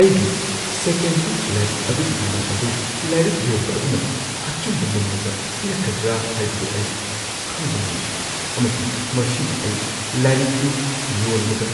ꯑꯩꯒꯤ second hand ꯂꯥꯏꯔꯤꯛ ꯑꯗꯨꯒꯤ ꯃꯃꯜ ꯑꯗꯨ ꯂꯥꯏꯔꯤꯛ ꯌꯣꯟꯕ ꯑꯗꯨꯅ ꯑꯆꯨꯝꯕ ꯃꯃꯜꯗ ꯄꯤꯔꯛꯀꯗ꯭ꯔꯥ ꯍꯥꯏꯕꯗꯨ ꯑꯩ ꯈꯪꯕ ꯉꯝꯗ꯭ꯔꯤ, ꯑꯃꯁꯨꯡ ꯃꯁꯤꯅ ꯑꯩ ꯂꯥꯏꯔꯤꯛꯗꯨ ꯌꯣꯟꯕꯗ